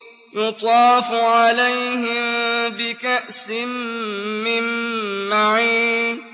يُطَافُ عَلَيْهِم بِكَأْسٍ مِّن مَّعِينٍ